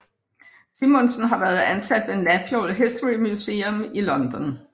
Simonsen været ansat ved Natural History Museum i London